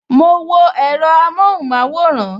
Mo wo èro amohunmaworan